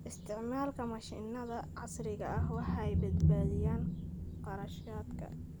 Isticmaalka mashiinnada casriga ah waxay badbaadiyaan kharashaadka.